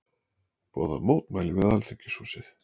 Boða mótmæli við Alþingishúsið